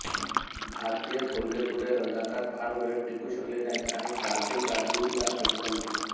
भारतीय फौजे पुढे रझाकार फार वेळ टिकू शकले नाहीत आणि कासीम राजवी ला अटक झाली